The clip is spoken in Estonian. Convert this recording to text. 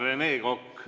Rene Kokk.